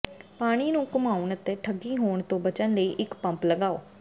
ਪਾਣੀ ਨੂੰ ਘੁਮਾਉਣ ਅਤੇ ਠੱਗੀ ਹੋਣ ਤੋਂ ਬਚਣ ਲਈ ਇੱਕ ਪੰਪ ਲਗਾਓ